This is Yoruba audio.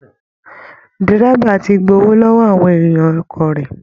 Dẹ́rẹ́ba ti gbowó lọ́wọ́ àwọn èrò ọkọ̀ rẹ̀